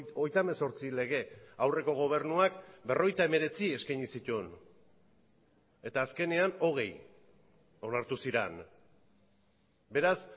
hogeita hemezortzi lege aurreko gobernuak berrogeita hemeretzi eskaini zituen eta azkenean hogei onartu ziren beraz